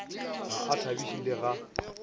ga a thabiše le ga